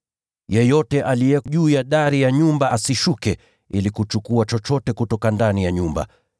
Yeyote aliye juu ya dari ya nyumba asishuke ili kuchukua chochote kutoka ndani ya nyumba.